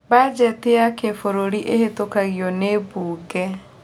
Bajeti ya kĩbũrũri ĩhetũkagio nĩ mbunge